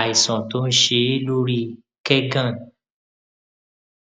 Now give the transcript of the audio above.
àìsàn tó ń ṣe é lórí kẹgàn